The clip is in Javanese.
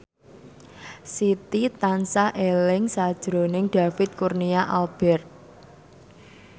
Siti tansah eling sakjroning David Kurnia Albert